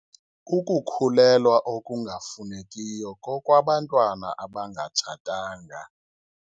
Ukukhulelwa okungafunekiyo kokwabantwana abangatshatanga.